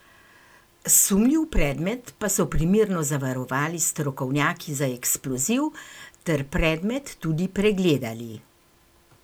Sumljiv predmet pa so primerno zavarovali strokovnjaki za eksploziv ter predmet tudi pregledali.